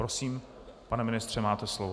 Prosím, pane ministře, máte slovo.